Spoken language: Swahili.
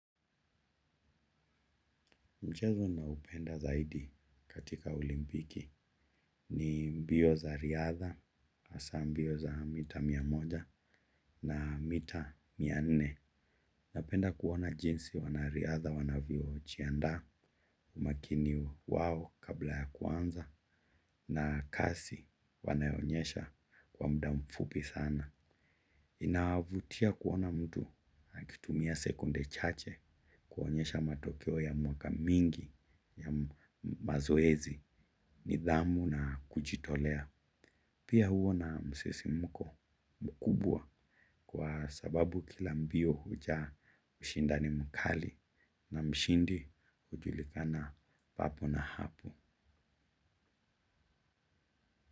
Mchezo naoupenda zaidi katika olimpiki ni mbio za riadha, hasa mbio za mita mia moja na mita mia nne. Napenda kuona jinsi wanariadha wanavyojiandaa na umakini wao kabla ya kuanza. Na kasi wanayoonyesha kwa muda mfupi sana. Inavutia kuona mtu akitumia sekunde chache kuonyesha matokeo ya miaka mingi ya mazoezi, nidhamu na kujitolea. Pia huwa na msisimko mkubwa kwa sababu kila mbio hujaa ushindani mkali, na mshindi hujulikana papo hapo.